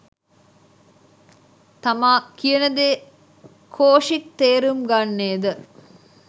තමා කියනදේ කොෂික් තේරුම් ගන්නේ ද